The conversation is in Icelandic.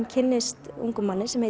kynnist ungum manni sem